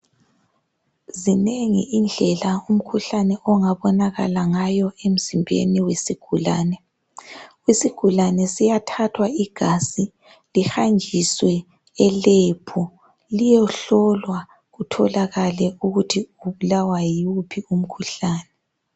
zinengi indlela umkhuhlane ongabonakala ngayo emzimbeni wesigulane isigulane siyathathwa igazi lihanjiswe e lab liyohlolwa kutholakale ukuthi ubulawa yiwuphi umkhuhlane